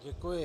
Děkuji.